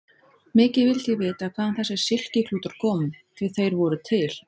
Mikið vildi ég vita hvaðan þessir silkiklútar komu, því þeir voru til!